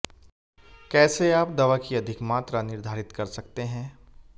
कैसे आप दवा की अधिक मात्रा निर्धारित कर सकते हैं